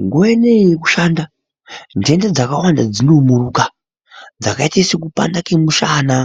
Nguwa inoyi yekushanda nhenda dzakawanda dzinomuruka dzakaite sekupanda kwemushana,